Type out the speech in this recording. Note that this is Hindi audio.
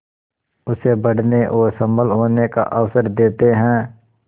उसे बढ़ने और सबल होने का अवसर देते हैं